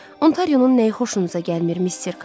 Ontarionun nəyi xoşunuza gəlmir, Missir Kap?